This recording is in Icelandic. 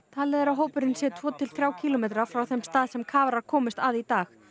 talið er að hópurinn sé um tvo til þrjá kílómetra frá þeim stað sem kafarar komust að í dag